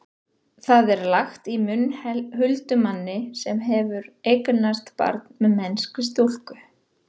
það er lagt í munn huldumanni sem hefur eignast barn með mennskri stúlku